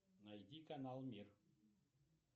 найди канал мир